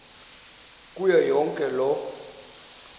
kuyo yonke loo